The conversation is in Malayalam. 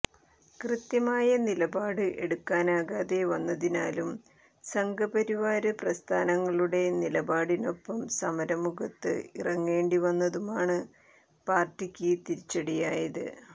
കൃത്യമായ നിലപാട് എടുക്കാനാകാതെ വന്നതിനാലും സംഘപരിവാര് പ്രസ്ഥാനങ്ങളുടെ നിലപാടിനൊപ്പം സമര മുഖത്ത് ഇറങ്ങേണ്ടി വന്നതുമാണ് പാര്ട്ടിക്ക് തിരിച്ചടിയായത്